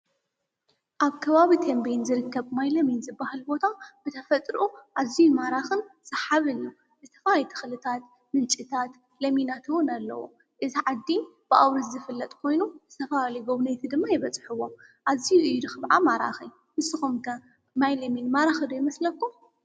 ኣብ ከባብ ቴምብየን ዝርከብ ማይ ለሚን ዝበሃል ቦታ ብተፈጥርኡ ኣዚዩ ማራኽን ሰሓብን እዩ፡፡ ዝተፈላለዩ ተኽልታት ምንጭታት ለሚናት ውን ኣለዎ፡፡ እዛ ዓዲ ብኣውርኡ ዝፍለጥ ኾይኑ ዝተፈላለዩ ጐብነይቲ ድማ ይበፅሕዎም ኣዚዩ ድማ ማራኺ፡፡ ንስኹምከ ማይ ለሚን ማራኽ ዶ ይመስለኩም?